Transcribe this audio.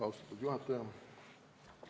Austatud juhataja!